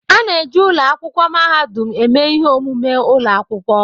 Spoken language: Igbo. A na-eji ụlọ akwụkwọ mahadum eme ihe omume ụlọ akwụkwọ.